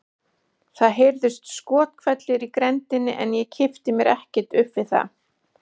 Það heyrðust skothvellir í grenndinni en ég kippti mér ekkert upp við það.